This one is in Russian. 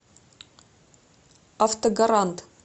автогарант